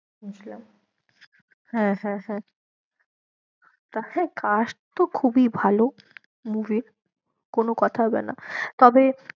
বুঝলাম হ্যাঁ, হ্যাঁ হ্যাঁ, তাহলে কাজ তো খুবই ভালো movie র কোনো কথা হবে না।